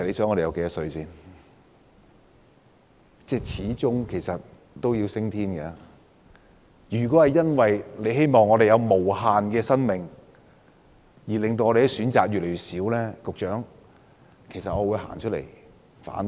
我們始終有一天要升天，如果局方為了市民有無限的生命而令我們的選擇越來越少，局長，我會走出來反對。